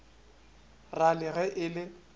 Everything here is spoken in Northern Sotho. ra le ge e le